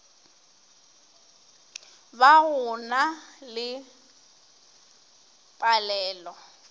ba go na le palelo